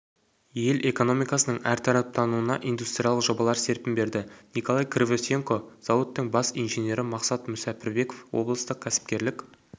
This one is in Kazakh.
ел экономикасының әртараптануына индустриалық жобалар серпін берді николай кривосенко зауыттың бас инженері мақсат мүсәпірбеков облыстық кәсіпкерлік